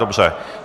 Dobře.